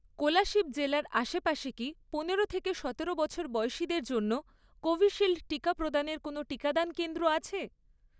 কোলাশিব জেলার আশেপাশে কি পনেরো থেকে সতেরো বছর বয়সীদের জন্য কোভিশিল্ড টিকা প্রদানের কোনও টিকাদান কেন্দ্র আছে?